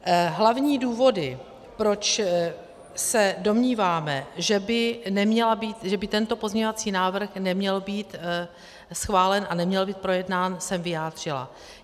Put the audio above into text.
Hlavní důvody, proč se domníváme, že by tento pozměňovací návrh neměl být schválen a neměl být projednán, jsem vyjádřila.